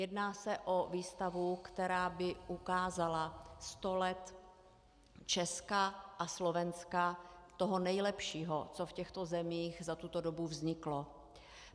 Jedná se o výstavu, která by ukázala sto let Česka a Slovenska, toho nejlepšího, co v těchto zemích za tuto dobu vzniklo.